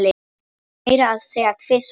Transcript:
Meira að segja tvisvar